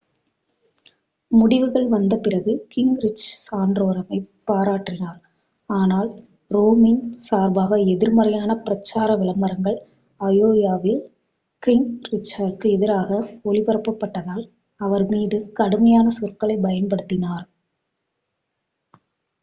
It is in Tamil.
முடிவுகள் வந்த பிறகு கிங்ரிச் சாண்டோரமைப் பாராட்டினார் ஆனால் ரோம்னி சார்பாக எதிர்மறையான பிரச்சார விளம்பரங்கள் அயோவாவில் கிங்ரிச்சிற்கு எதிராக ஒளிபரப்பப்பட்டதால் அவர் மீது கடுமையான சொற்களைப் பயன்படுத்தினார்